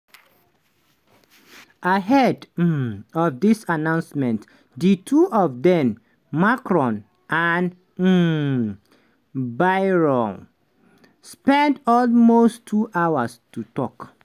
bayrou wey be macron padi na mayor from di southwest and e dey lead di modem party.